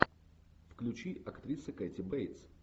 включи актриса кэти бейтс